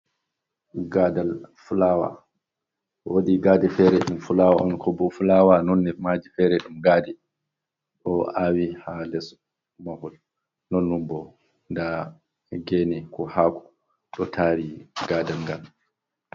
Gaadal fulawa, woodi gaade feere ɗum fulawa on, ko bo fulawa nonne maaji feere ɗum gaade, ɗo aawe haa les mahol. Nonnon bo ndaa geene, ko haako ɗo taari gaadal ngal.